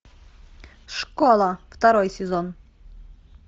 школа второй сезон